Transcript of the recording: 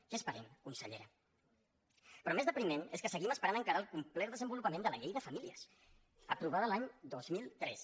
què esperem consellera però més depriment és que seguim esperant encara el complet desenvolupament de la llei de famílies aprovada l’any dos mil tres